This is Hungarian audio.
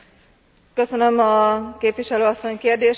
Köszönöm a képviselő asszony kérdését.